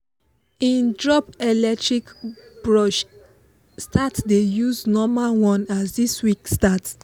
him drop electric brush start dey use normal one as this week start